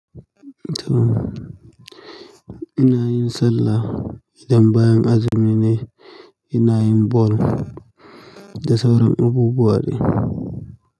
To ina yin sallah idan bayan azumi ne, ina yin ball da sauran abubuwa ne.